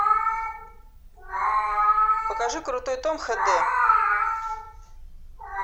покажи крутой том хэ дэ